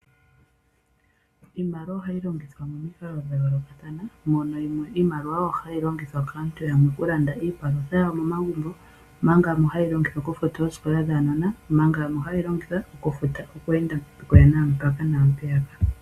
Iimaliwa ohayi longithwa momikalo dha yoolokathana mono yamwe iimaliwa hayi longithwa kaantu yamwe okulanda iipalutha yawo momagumbo omanga yamwe haye yi longitha okufuta oosikola dhaanona omanga yamwe ohaye yi longitha okufuta okweenda mpaka naampeyaka.